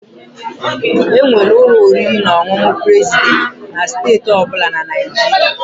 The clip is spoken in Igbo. Enwere ụlọ oriri na ọṅụṅụ President na steeti ọ bụla na Nigeria.